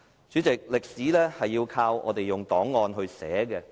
主席，歷史要靠我們用檔案來寫的。